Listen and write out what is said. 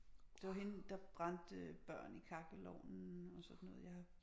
Det var hende der brændte børn i kakkelovnen og sådan noget jeg